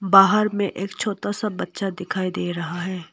बाहर में एक छोटा सा बच्चा दिखाई दे रहा है।